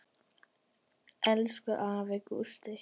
Elsku afi Gústi.